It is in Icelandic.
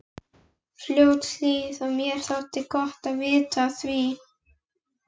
Fljótshlíð og mér þótti gott að vita af því.